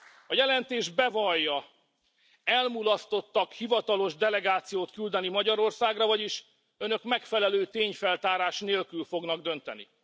A jelentés bevallja, hogy elmulasztottak hivatalos delegációt küldeni Magyarországra, vagyis Önök megfelelő tényfeltárás nélkül fognak dönteni.